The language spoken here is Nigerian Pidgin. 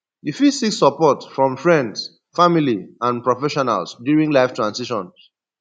you fit seek support from friends family and professionals during life transitions